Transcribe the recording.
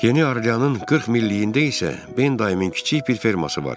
Yeni Arliyanın 40 milliyində isə Ben dayımın kiçik bir ferması var.